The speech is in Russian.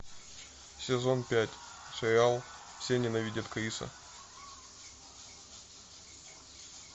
сезон пять сериал все ненавидят криса